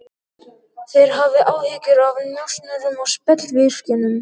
Þeir hafa áhyggjur af njósnurum og spellvirkjum.